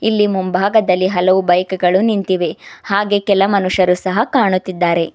ಇಲ್ಲಿ ಮುಂಭಾಗದಲ್ಲಿ ಹಲವು ಬೈಕ್ ಗಳು ನಿಂತಿವೆ ಹಾಗೆ ಕೆಲ ಮನುಷ್ಯರು ಸಹ ಕಾಣುತ್ತಿದ್ದಾರೆ.